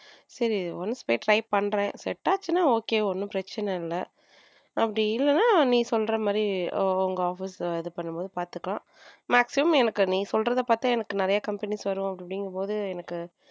சரி once போய் try பண்றேன் set ஆச்சுன்னா okay ஒன்னும் பிரச்சனை இல்ல அப்படி இல்லன்னா நீ சொன்ன உங்க office இது பண்ணும் போது பாத்துக்கலாம் maximum எனக்கு நீ சொல்றத பார்த்தா எனக்கு நிறைய companies வரும் அப்படின்னு போது எனக்கு.